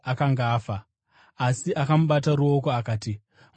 Asi akamubata ruoko akati, “Mwanangu, muka!”